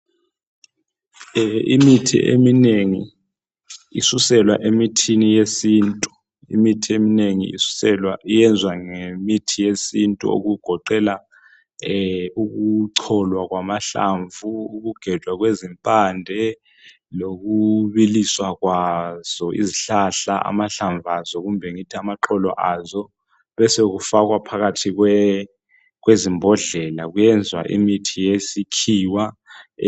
Imithi eminengi isuselwa emithini yesintu. i Imithi eminengi iyenzwa ngemithi yesintu okugoqelwa ukucolwa kwamahlamvu, uku gejwa kwezimpande lokubiliswa kwazo izihlahla amahlamvu azo kumbe ngithi amaxolo azo besokufakwa phakathi kwezimbodlela kwenzwa imithi yesikhiwa.